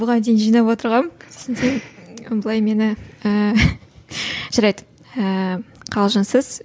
бұған дейін жинап отырғанмын былай мені ііі жарайды ііі қалжыңсыз